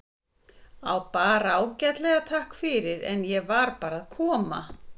Bara ágætlega, takk fyrir, en ég var bara að koma.